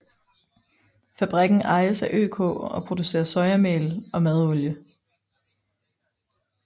Fabrikken ejes af ØK og producerer sojamel og madolie